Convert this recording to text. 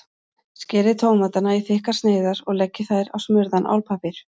Skerið tómatana í þykkar sneiðar og leggið þær á smurðan álpappír.